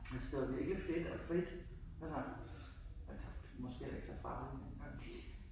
Altså det var virkelig fedt og frit altså altså måske heller ikke så farligt dengang